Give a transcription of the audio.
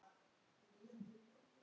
Hver er framtíð mín?